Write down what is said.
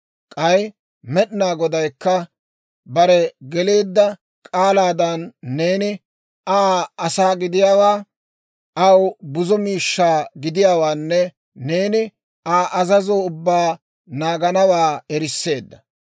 K'ay Med'inaa Godaykka bare geleedda k'aalaadan neeni Aa asaa gidiyaawaa, aw buzo miishshaa gidiyaawaanne neeni Aa azazo ubbaa naaganawaa erisseedda.